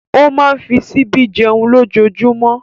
Ó máa fi ṣíbí jẹun lójoojúmọ́.